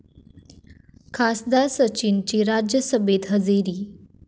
खासदार सचिनची राज्यसभेत हजेरी